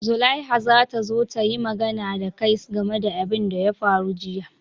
Zulaiha za ta zo ta yi magana da kai game da abin da ya faru jiya.